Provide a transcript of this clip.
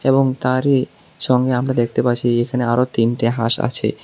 এবং তারই সঙ্গে আমরা দেখতে পাচ্ছি যে এখানে আরও তিনটে হাঁস আছে।